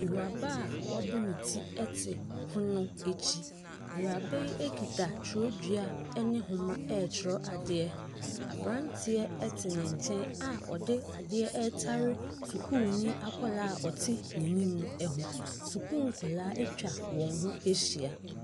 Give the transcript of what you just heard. Awuraba a wabɔ ne ti te pono akyi. Awuraba yi kita twerɛdua ne nwoma retwerɛ adeɛ. Aberanteɛ te ne nkyɛn a ɔde adeɛ retare sukuuni akwadaa a ɔte n'anim no ho. Sukuu nkwadaa atwa wɔn ho ahyia.